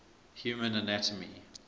human anatomy